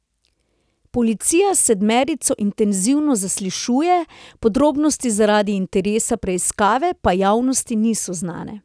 Policija sedmerico intenzivno zaslišuje, podrobnosti zaradi interesa preiskave pa javnosti niso znane.